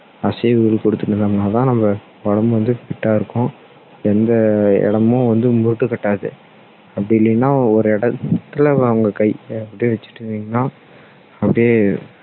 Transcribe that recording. அசைவுகள் கொடுத்துட்டு இருந்தோம்னா தான் நம்ம உடம்பு வந்து fit டா இருக்கும் எந்த அஹ் இடமும் வந்து முட்டு கட்டாது அப்படி இல்லன்னா ஒரு இடத்துல கையை அப்படியே வைச்சுட்டு இருந்தீங்கன்னா அப்படியே